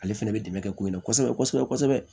Ale fɛnɛ bɛ dɛmɛ kɛ ko in na kosɛbɛ kosɛbɛ kosɛbɛ